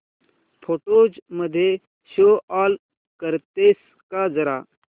photos मध्ये show off करतेस का जरा